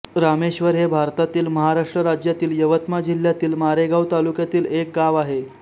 रामेश्वर हे भारतातील महाराष्ट्र राज्यातील यवतमाळ जिल्ह्यातील मारेगांव तालुक्यातील एक गाव आहे